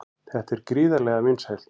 Þetta er gríðarlega vinsælt